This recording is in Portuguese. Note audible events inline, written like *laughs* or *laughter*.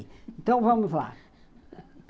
Então, vamos lá. *laughs*